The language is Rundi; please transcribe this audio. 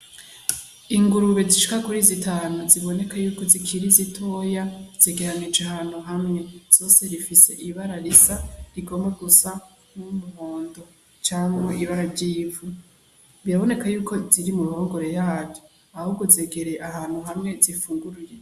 Ingurube zishika kuri zitanu ziboneka yuko zikiri zitoya zegeranije ahantu hamwe zose zifise ibara risa rigomba gusa n' umuhondo canke ibara ry'ivu biraboneka yuko ziri mu ruhungore yaryo ahubwo zegereye ahantu hamwe zifungurira.